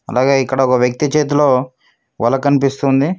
అలాగే ఇక్కడ ఒక వ్యక్తి చేతిలో వల కనిపిస్తుంది.